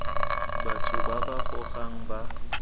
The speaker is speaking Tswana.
batho ba ba gogang ba